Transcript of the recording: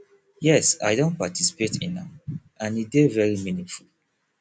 yes i don participate in am and e dey very meaningful